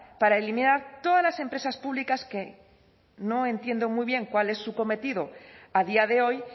para eliminar todas las empresas públicas que no entiendo muy bien cuál es su cometido a día de hoy